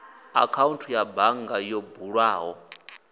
akhaunthu ya bannga yo bulwaho